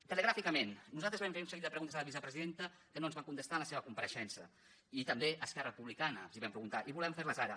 telegràficament nosaltres vam fer un seguit de preguntes a la vicepresidenta que no ens va contestar en la seva compareixença i també a esquerra republicana els vam preguntar i volem fer les ara